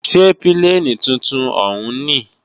Ṣé pílènì tuntun òún ní?